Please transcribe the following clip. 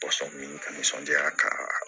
nisɔndiya kaa